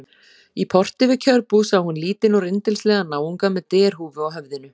Í porti við kjörbúð sá hún lítinn og rindilslegan náunga með derhúfu á höfðinu.